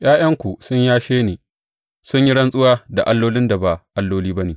’Ya’yanku sun yashe ni sun yi rantsuwa da allolin da ba alloli ba ne.